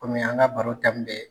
an ka baro bɛ